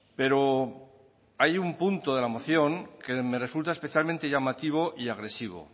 pero hay un punto de la moción que me resulta especialmente llamativo y agresivo